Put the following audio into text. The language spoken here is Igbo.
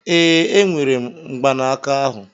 Ee, enwere m mgbanaka ahụ.